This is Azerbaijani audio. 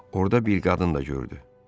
Orda bir qadın da gördü.